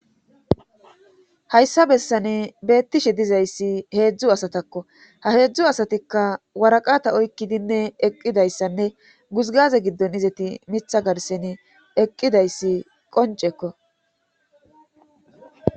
Hayssa bessane beettishe dizayssi heedzdzu asatakko ha heedzdzu asatikka waraqata oykkidinne eqqidayssanne guzgaze giddon izeti mitha garsen eqqidayssi qoncekko.